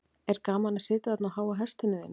er gaman að sitja þarna á háa hestinum þínum